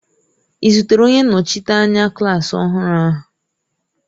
Ị zutere onye nnọchiteanya klaasị ọhụrụ ahụ?